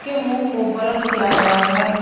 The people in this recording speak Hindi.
के मुंह को ब्लर किया गया है।